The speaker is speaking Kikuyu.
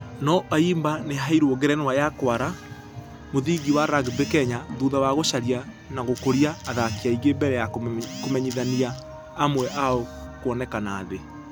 Nũ ayimba nĩ aheirwo ngerenwa ya kwara mũthingi wa rugby kenya thutha wa gũcaria na gũkũria athaki aingĩ mbere ya kũmenyithania amwe ao kuonekana thĩ.